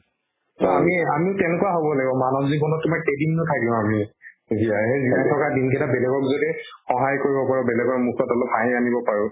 to আমি আমি কেনেকুৱা হ'ব লাগিব মানব জীৱনত তোমাক কেইদিননো থাকিম আমি জীয়াই থকা দিন কেইটা বেলেগক যাতে সহায় কৰিব পাৰো বেলেগৰ মুখত অলপ হাঁহি আনিব পাৰো